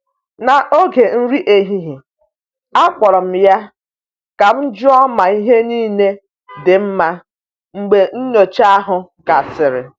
N’oge nri ehihie, akpọrọ m ya ka m jụọ ma ihe niile dị mma mgbe nnyocha ahụ gasịrị.